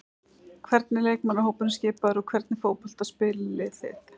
Hvernig er leikmannahópurinn skipaður og hvernig fótbolta spilið þið?